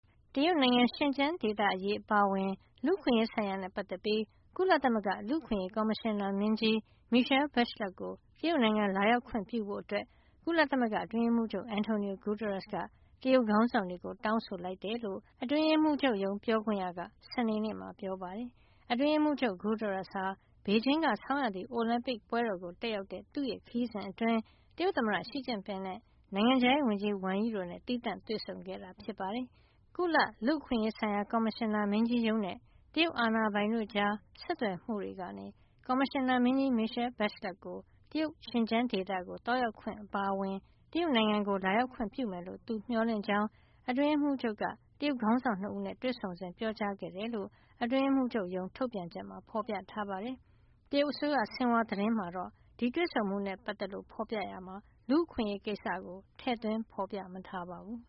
တရုတ်နိုင်ငံ ရှင်ကျန်းဒေသအရေး အပါအဝင် လူ့အခွင့်အရေးဆိုင်ရာနဲ့ ပတ်သက်ပြီး ကုလသမဂ္ဂ လူ့အခွင့်ရေး ကော်မရှင်နာမင်းကြီး Michelle Bachelet ကို တရုတ်နိုင်ငံ လာရောက်ခွင့်ပြုဖို့ ကုလသမဂ္ဂ အတွင်းရေးမှူးချုပ် Antonio Guterres က တရုတ်ခေါင်းဆောင်တွေကို တောင်းဆိုလိုက်တယ်လို့ အတွင်းရေးမှူးချုပ် ပြောခွင့်ရက စနေနေ့မှာ ပြောပါတယ်။ အတွင်းရေးမှူးချုပ် Guterres ဟာ ဘေဂျင်းက ဆောင်းရာသီ အိုလံပစ်ပွဲကို တက်ရောက်တဲ့ သူ့ခရီးစဉ်အတွင်း တရုတ်သမ္မတ Xi Jinping နဲ့ နိုင်ငံခြားရေးဝန်ကြီး Wang Yi တို့နဲ့ သီးသန့်တွေ့ဆုံခဲ့တာ ဖြစ်ပါတယ်။ ကုလ လူ့အခွင့်အရေးဆိုင်ရာ ကော်မရှင်နာမင်းကြီးရုံးနဲ့ တရုတ်အာဏာပိုင်တို့ကြား ဆက်သွယ်မှုကနေ ကော်မရှင်နာမင်းကြီး Michelle Bachelet ကို တရုတ် ရှင်ကျန်းဒေသ သွားရောက်ခွင့် အပါအဝင် တရုတ်နိုင်ငံကို လာရောက်ခွင့်ပြုမယ်လို့ သူမျှော်လင့်ကြောင်း အတွင်းရေးမှူးချုပ်က တရုတ်ခေါင်းဆောင် ၂ ဦးနဲ့ တွေ့ဆုံစဉ် ပြောကြားခဲ့တယ်လို့ အတွင်းရေးမှူးချုပ်ရုံး ထုတ်ပြန်ချက်မှာ ဖော်ပြထားပါတယ်။ တရုတ်အစိုးရရဲ့ ဆင်ဟွာသတင်းမှာ တွေ့ဆုံမှုနဲ့ပတ်သက်လို့ ဖော်ပြရာမှာတော့ လူ့အခွင့်အရေးကိစ္စကို ထည့်သွင်းမထားပါဘူး။